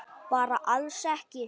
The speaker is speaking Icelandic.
Bara alls ekki.